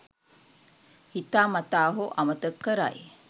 හිතා මතා හෝ අමතක කරයි.